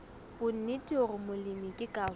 bonnete hore molemi ke karolo